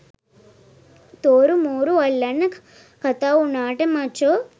තෝරු මෝරු අල්ලන්න කතා උනාට මචෝ